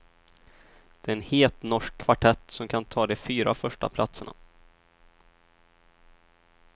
Det är en het norsk kvartett som kan ta de fyra första platserna.